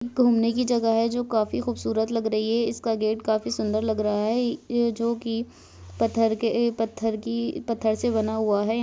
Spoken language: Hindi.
घूमने की जगह है जो काफी खूबसूरत लग रही है इसका गेट काफी सुंदर लग रहा है ये जो की पत्थर के पत्थर की पत्थर से बना हुआ है।